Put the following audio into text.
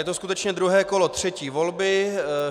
Je to skutečně druhé kolo třetí volby.